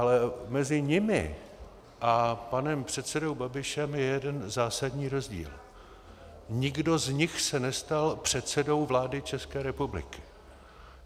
Ale mezi nimi a panem předsedou Babišem je jeden zásadní rozdíl - nikdo z nich se nestal předsedou vlády České republiky.